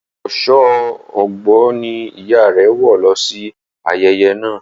Aṣọ Ọ̀gbọ ni ìyá rẹ wọ lọ sí ayẹyẹ naa.